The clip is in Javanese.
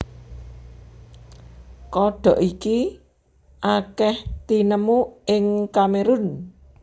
Kodhok iki akèh tinemu ing Kamerun